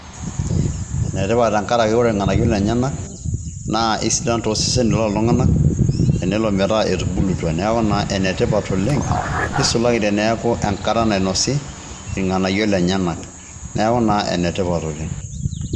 Ene tipat tenkaraki kore irng'anayio lenyenak naa esidan too seseni loltung'anak tenelo metaa etubulutua. Neeku naa ene tipat oleng' nisulaki teneeku enkata nainosi irng'anayio lenyenak neeku naa ene tipat oleng'.